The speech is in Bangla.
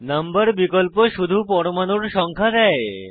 নাম্বার বিকল্প শুধুমাত্র পরমাণুর সংখ্যা দেয়